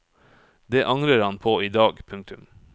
Det angrer han på i dag. punktum